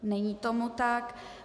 Není tomu tak.